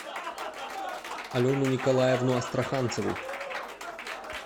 алену николаевну астраханцеву